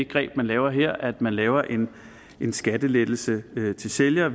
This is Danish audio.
greb man laver her altså at man laver en skattelettelse til sælger